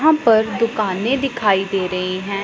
यहां पर दुकाने दिखाई दे रही हैं।